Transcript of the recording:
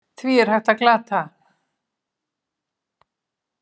Því er hægt að glata!